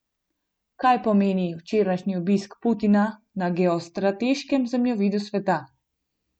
Kaj pomeni včerajšnji obisk Putina na geostrateškem zemljevidu sveta?